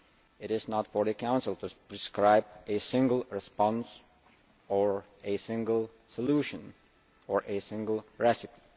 It is not for the Council to prescribe a single response, a single solution or a single recipe.